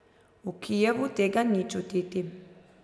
V Kijevu tega ni čutiti.